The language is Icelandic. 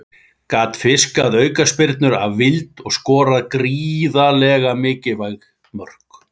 Gat fiskað aukaspyrnur af vild og skoraði gríðarlega mikilvæg mörk.